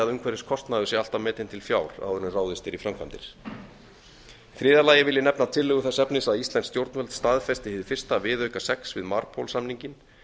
umhverfiskostnaður sé alltaf metinn til fjár áður en ráðist er í framkvæmdir í þriðja lagi vil ég nefna tillögu þess efnis að íslensk stjórnvöld staðfesti hið fyrsta viðauka sex við marpol samninginn